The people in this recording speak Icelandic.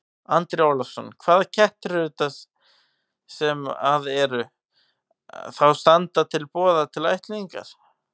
Andri Ólafsson: Hvaða kettir eru þetta sem að eru, þá standa til boða til ættleiðingar?